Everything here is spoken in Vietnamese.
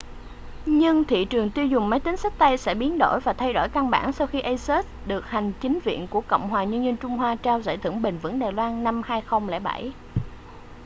nhưng thị trường tiêu dùng máy tính xách tay sẽ biến đổi và thay đổi căn bản sau khi asus được hành chính viện của cộng hòa nhân dân trung hoa trao giải thưởng bền vững đài loan 2007